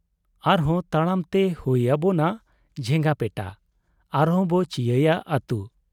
ᱟᱨᱦᱚᱸ ᱛᱟᱲᱟᱢᱛᱮ ᱦᱩᱭ ᱟᱵᱚᱱᱟ ᱡᱷᱮᱸᱜᱟᱯᱮᱴᱟ , ᱟᱨᱦᱚᱸᱵᱚ ᱪᱤᱭᱟᱹᱭᱟ ᱟᱹᱛ ᱾